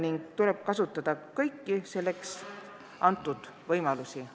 Meil tuleb kasutada kõiki selleks antud võimalusi.